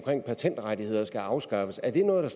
at patentrettigheder skal afskaffes er det noget